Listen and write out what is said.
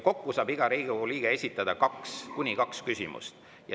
Kokku saab iga Riigikogu liige esitada kuni kaks küsimust.